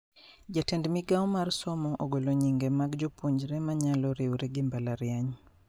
Jatend migao mar somo ogolo nyinge mag jopuonjre manyalo riure gi mbalariany